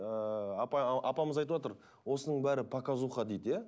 ыыы апай апамыз айтып отыр осының бәрі показуха дейді иә